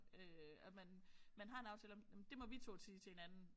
Øh at man man har en aftale om nåh men det må vi 2 sige til hinanden